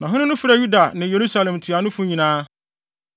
Na ɔhene no frɛɛ Yuda ne Yerusalem ntuanofo nyinaa.